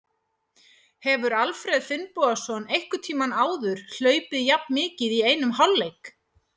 Hefur Alfreð Finnbogason einhvern tímann áður hlaupið jafn mikið í einum hálfleik?